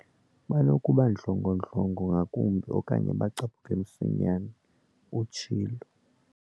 Banokuba ndlongondlongo ngakumbi okanye bacaphuke msinyane," utshilo.